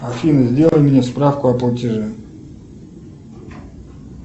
афина сделай мне справку о платеже